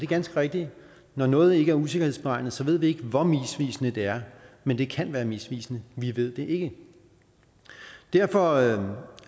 ganske rigtigt at når noget ikke er usikkerhedsberegnet ved vi ikke hvor misvisende det er men det kan være misvisende vi ved det ikke derfor